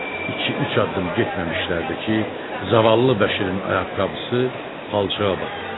İki-üç addım getməmişdilərdi ki, zavallı Bəşirin ayaqqabısı palçığa batdı.